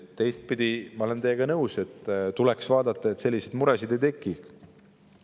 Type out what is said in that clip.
Teistpidi, ma olen teiega nõus: tuleks vaadata, et selliseid muresid ei tekiks.